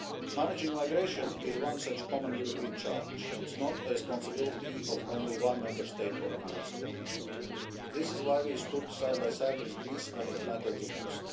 all. Managing migration is one such common European challenge it is not the responsibility of only one Member State or another. That is why we stood side by side with Greece when it mattered